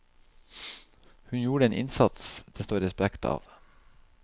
Hun gjorde en innsats det står respekt av.